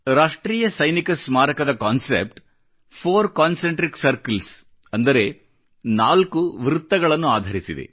ರಾಷ್ಟ್ರೀಯ ಸೈನಿಕ ಸ್ಮಾರಕದ ಕಾನ್ಸೆಪ್ಟ್ ಫೌರ್ ಕಾನ್ಸೆಂಟ್ರಿಕ್ ಸರ್ಕಲ್ಸ್ ಅಂದರೆ ನಾಲ್ಕು ಚಕ್ರಗಳನ್ನು ಆಧರಿಸಿದೆ